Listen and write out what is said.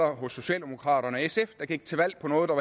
hos socialdemokraterne og sf der gik til valg på noget der